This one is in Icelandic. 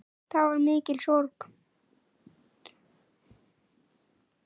Það var mikil sorg.